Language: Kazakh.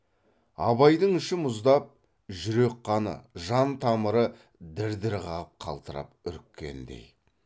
абайдың іші мұздап жүрек қаны жан тамыры дір дір қағып қалтырап үріккендей